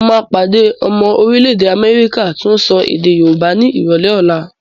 Mo máa pàdé ọmọ orílẹ̀-èdè Amẹ́ríkà tó ń sọ èdè Yorùbá ni ìrọ̀lẹ́ ọ̀la.